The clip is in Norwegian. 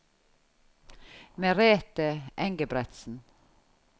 Merete Engebretsen